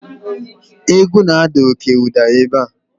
egwu na-ada oke ụda ebe a